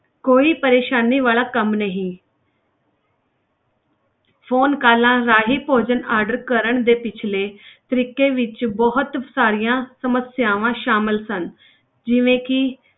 ਕੋਈ ਪਰੇਸਾਨੀ ਵਾਲਾ ਕੰਮ ਨਹੀਂ phone calls ਰਾਹੀਂ ਭੋਜਨ order ਕਰਨ ਦੇ ਪਿੱਛਲੇ ਤਰੀਕੇ ਵਿੱਚ ਬਹੁਤ ਸਾਰੀਆਂ ਸਮੱਸਿਆਵਾਂ ਸ਼ਾਮਲ ਸਨ ਜਿਵੇਂ ਕਿ